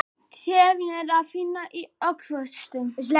trefjaefni er að finna í ávöxtum